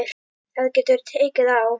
Það getur tekið á.